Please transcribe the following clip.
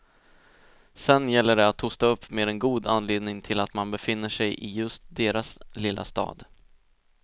Sen gäller det att hosta upp med en god anledning till att man befinner sig i just deras lilla stad.